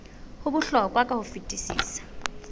ho bohlokwa ka ho fetisisa